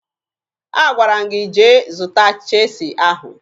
Agwara m gị jee zụta cheesi ahụ!